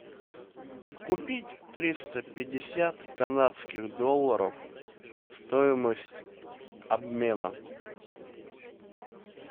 купить триста пятьдесят канадских долларов стоимость обмена